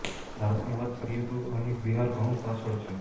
ભારતની વાત કરીએ તો અહીં બિહાર ઘણું પાછળ છે